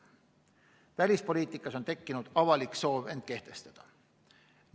Välispoliitikas on tekkinud avalik soov end kehtestada.